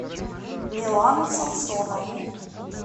милану самсонову